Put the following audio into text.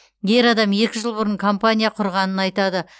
ер адам екі жыл бұрын компания құрғанын айтады